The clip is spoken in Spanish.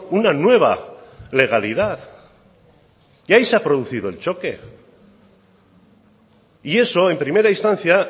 una nueva legalidad y ahí se ha producido el choque y eso en primera instancia